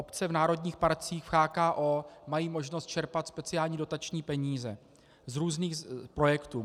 Obce v národních parcích, v CHKO mají možnost čerpat speciální dotační peníze z různých projektů.